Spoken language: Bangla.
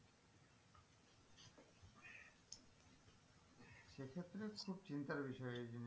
খুব চিন্তার বিষয় এই জিনিস।